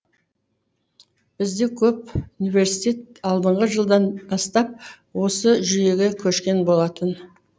бізде көп университет алдыңғы жылдан бастап осы жүйеге көшкен болатын